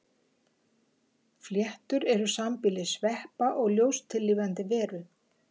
fléttur eru sambýli sveppa og ljóstillífandi lífveru